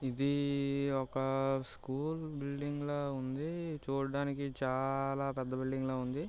ఇది ఒక school building లాగా ఉంది.చూడడానికి చాలా పెద్ద బిల్డింగ్ లాగా ఉంది.